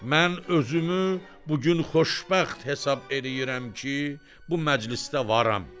Mən özümü bu gün xoşbəxt hesab eləyirəm ki, bu məclisdə varam.